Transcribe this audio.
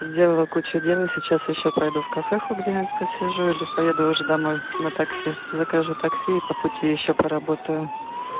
сделала кучу дел и сейчас ещё пройду в кафеху где посижу или поеду уже домой на такси закажу такси и по пути ещё поработаю